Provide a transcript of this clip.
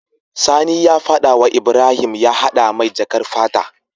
Sani ya fada wa Ibrahim ya hada mai jakar fata